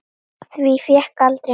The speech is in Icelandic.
Því fékk aldrei neitt breytt.